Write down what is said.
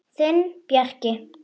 Þinn, Bjarki.